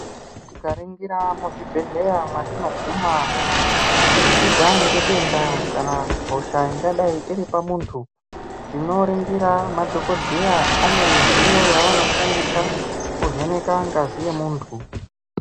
Tika ningira muzvi bhedhleya mwatino guma kubudikidza nge denda kana hosha ingadai iri pamuntu tino ningira ma dhokoteya ane midziyo yavano shandisa kuvheneka ngazi ye muntu.